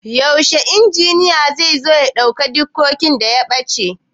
Yaushe injiniya zai zo ya ɗau dikodin da ya ɓaci?